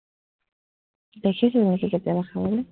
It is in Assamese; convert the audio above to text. দেখিছ নেকি কেতিয়াবা খাবলে,